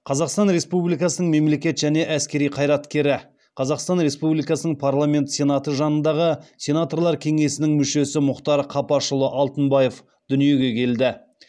қазақстан республикасының мемлекет және әскери қайраткері қазақстан республикасының парламенті сенаты жанындағы сенаторлар кеңесінің мүшесі мұхтар қапашұлы алтынбаев дүниеге келді